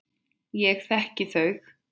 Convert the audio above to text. Ég þekki þau.